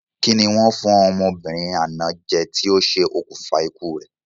Kí ni wọ́n fún ọmọbìnrin àná jẹ ti o se òkùnfà ikú rẹ?